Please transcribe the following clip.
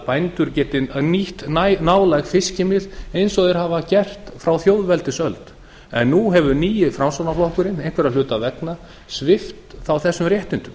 bændur geti nýtt nálæg fiskimið ein og þeir hafa gert frá þjóðveldisöld en nú hefur nýi framsóknarflokkurinn einhverra hluta vegna svipt þá þessum réttindum